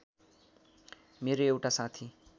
मेरो एउटा साथी